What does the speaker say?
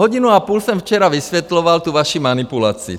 Hodinu a půl jsem včera vysvětloval tu vaši manipulaci.